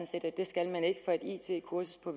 set at det skal man ikke for et it kursus på